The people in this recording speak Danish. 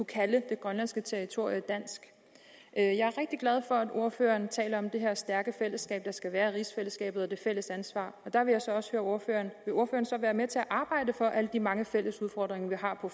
kalde det grønlandske territorium dansk jeg er glad for at ordføreren taler om det her stærke fællesskab der skal være i rigsfællesskabet og det fælles ansvar og der vil jeg så også vil ordføreren være med til at arbejde for alle de mange fælles udfordringer vi har på